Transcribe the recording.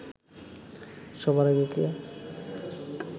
সবার আগে কে